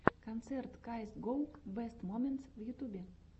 концерт каэс гоу бэст моментс в ютьюбе